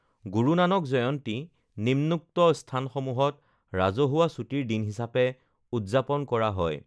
গুৰু নানক জয়ন্তী নিম্নোক্ত স্থানসমূহত ৰাজহুৱা ছুটিৰ দিন হিচাপে উদযাপন কৰা হয়: